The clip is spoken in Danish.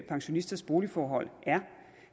pensionisters boligforhold er